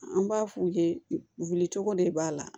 An b'a f'u ye wulicogo de b'a la